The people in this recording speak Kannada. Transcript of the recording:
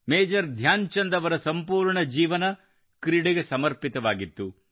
ಮೇಜರ್ ಧ್ಯಾನ್ ಚಂದ್ ಅವರ ಸಂಪೂರ್ಣ ಜೀವನ ಕ್ರೀಡೆಗೆ ಸಮರ್ಪಿತವಾಗಿತ್ತು